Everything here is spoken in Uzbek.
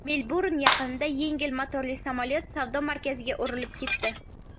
Melburn yaqinida yengil motorli samolyot savdo markaziga urilib ketdi.